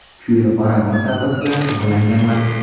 Shu yili qoramol savdosi bilan shug‘ullanganman.